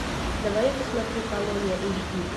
давай я посмотрю колония эйч ди